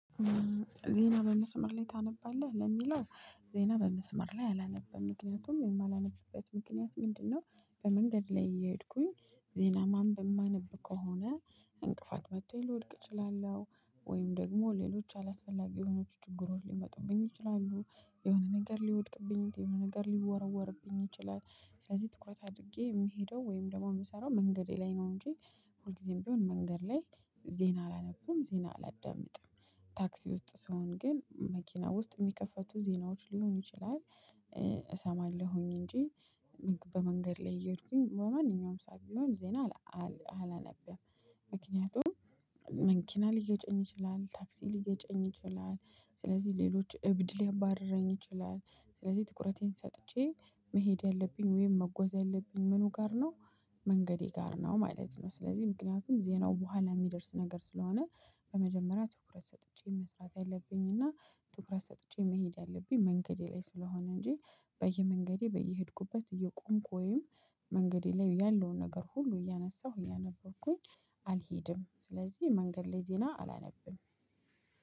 "ዜና በመስመር ላይ ታነባለህ?" ለሚለው ዜና በመስመር ላይ አላነብም። ምክንያቱም የማላነብበት ምክንያት ምንድነው በመንገድ ላይ እየሄድኩኝ ዜና ማንበብ ማነብ ከሆነ እንቅፋት መቶኝ ልወድቅ እችላለሁ ወይም ደግሞ ሌሎች አላስፈላጊ የሆነች ችግሮች ሊመጡብኝ ይችላሉ። የሆነ ነገር ሊወድቅብኝ፤ የሆነ ነገር ሊወረወርብኝ ይችላል። ስለዚህ ትኩረት አድርጌ የምሄደው ወይም ደግሞ የምሰራው መንገዴ ላይ ነው እንጂ ሁልጊዜም ቢሆን መንገድ ላይ ዜና አላነብም ዜና አላዳምጥም ታክሲ ውስጥ ስሆን ግን መኪና ውስጥ የሚከፈቱ ዜናዎች ሊሆኑ ይችላል እሰማለሁኝ እንጂ በመንገድ ላይ እየሄድኩኝ በማንኛውም ሰዓት ቢሆን ዜና አላነብም። ምክንያቱም መኪና ሊገጨኝ ይችላል፤ ታክሲ ሊገጨኝ ይችላል፤ ስለዚህ ሌሎች እብድ ሊያባርረኝ ይችላል። ስለዚህ ትኩረቴን ሰጥቼ መሄድ ያለብኝ ወይም መጓዝ ያለብኝ ምኑ ጋር ነው መንገዴ ጋር ነው ማለት ነው። ስለዚህ ምክንያቱም ዜናው በኋላ የሚደርስ ነገር ስለሆነ በመጀመሪያ ትኩረት ሰጥቼ መስራት ያለብኝና ትኩረት ሰጥቼ መሄድ ያለብኝ መንገዴ ላይ ስለሆነ እንጂ በየመንገዴ በየሄድኩበት እየቆምኩ ወይም መንገዴ ላይ ያለውን ነገር ሁሉ እያነሳሁ እያነበብኩኝ አልሄድም። ስለዚህ መንገድ ላይ ዜና አላነብም።